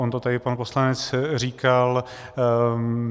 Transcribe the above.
On to tady pan poslanec říkal.